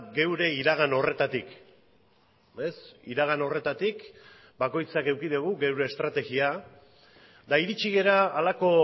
geure iragan horretatik iragan horretatik bakoitzak eduki dugu geure estrategia eta iritsi gara halako